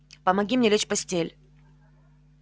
помоги мне лечь в постель